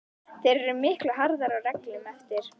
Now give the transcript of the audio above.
Þeir eru miklu harðari á reglunum eftir að